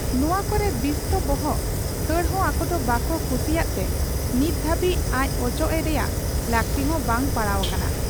ᱱᱚᱶᱟ ᱠᱚᱨᱮ ᱵᱤᱥᱛᱚ ᱵᱚᱦᱚᱜ ᱠᱷᱟᱹᱲᱦᱚᱸ ᱟᱠᱚᱫᱚ ᱵᱟᱠᱚ ᱠᱩᱥᱤᱭᱟᱜ ᱛᱮ ᱱᱤᱛ ᱫᱷᱟᱹᱵᱤᱡ ᱟᱡ ᱚᱪᱚᱜ ᱮ ᱨᱮᱭᱟᱜ ᱞᱟᱹᱠᱛᱤ ᱦᱚᱸ ᱵᱟᱭ ᱯᱟᱲᱟᱣ ᱟᱠᱟᱱᱟ ᱾